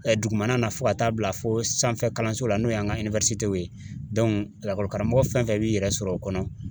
Dugumana na fo ka taa bila fo sanfɛ kalanso la n'o ye an ka ye lakɔlikaramɔgɔ fɛn fɛn b'i yɛrɛ sɔrɔ o kɔnɔ ,